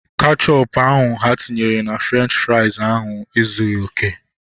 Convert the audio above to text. Kechọpu ahu ha tinyere na Frenchi frais ahu ezughị okè